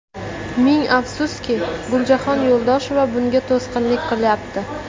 Ming afsuski, Guljahon Yuldosheva bunga to‘sqinlik qilyapti.